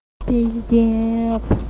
пиздец